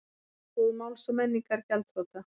Bókabúð Máls og menningar gjaldþrota